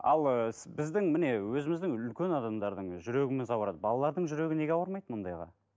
ал ыыы біздің міне өзіміздің үлкен адамдардың жүрегіміз ауырады балалардың жүрегі неге ауырмайды мұндайға